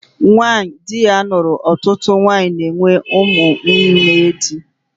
Nwanyị dị ya lụrụ ọtụtụ nwanyị na-enwe ụmụ nwunye di